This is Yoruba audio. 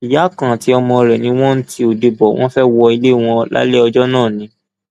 ìyá kan àti ọmọ rẹ ni wọn ń ti ode bò wọn fẹẹ wọlé wọn lálẹ ọjọ náà ni